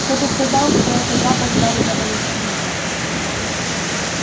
кто-то сказал что это запах жареного ячменя